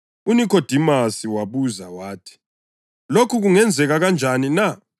UNikhodimasi wabuza wathi, “Lokhu kungenzeka kanjani na?”